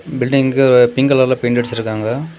Building pink கலர்ல paint அடிச்சிருக்காங்க.